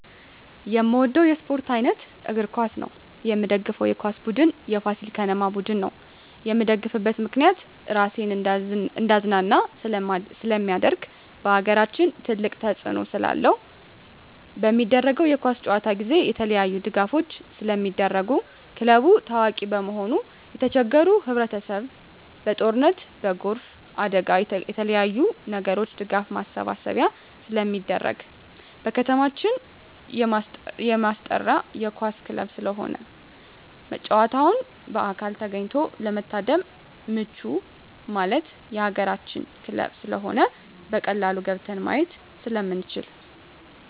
የምወደው የስፓርት አይነት እግር ኳስ ነው። የምደግፈው የኳስ ቡድን የፋሲል ከነማ ቡድን ነው። የምደግፍበት ምክንያት ራሴን እንዳዝናና ስለማደርግ በአገራችን ትልቅ ተፅዕኖ ስላለው። በሚደረገው የኳስ ጨዋታ ጊዜ የተለያዪ ድጋፎች ስለሚደረጉ ክለቡ ታዋቂ በመሆኑ የተቸገሩ ህብረቸሰብ በጦርነት በጎርፍ አደጋ በተለያዪ ነገሮች የድጋፍ ማሰባሰቢያ ስለሚደረግ። በከተማችን የማስጠራ የኳስ ክለብ ስለሆነ ጨዋታውን በአካል ተገኝቶ ለመታደም ምቹ ማለት የአገራችን ክለብ ስለሆነ በቀላሉ ገብተን ማየት ስለምንችል።